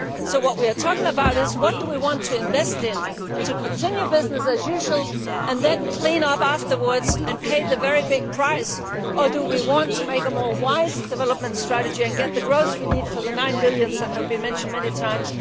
What we are talking about is whether we want to invest in business as usual and then clean up afterwards and pay the very high price or we want to choose a wiser development strategy and get the growth we need for the nine billion that have been mentioned many times.